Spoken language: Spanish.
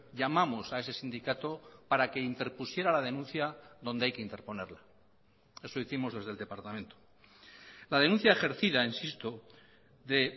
llamamos a ese sindicato para que interpusiera la denuncia donde hay que interponerla eso hicimos desde el departamento la denuncia ejercida insisto de